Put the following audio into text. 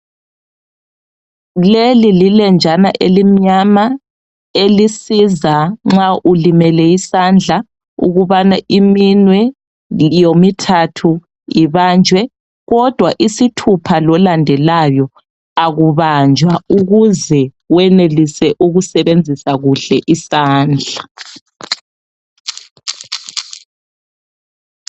Leli lilenjana elimnyama elisiza nxa ulimele isandla ukubana iminwe yomithathu ibanjwe kodwa isithupha lolandelayo akubanjwa ukuze wenelise ukusebenzisa kuhle isandla.